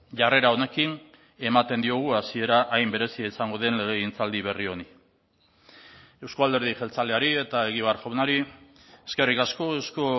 jarrera honekin ematen diogu hasiera hain berezia izango den legegintzaldi berri honi euzko alderdi jeltzaleari eta egibar jaunari eskerrik asko euzko